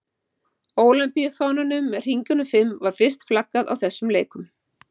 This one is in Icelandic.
Ólympíufánanum með hringjunum fimm var fyrst flaggað á þessum leikum.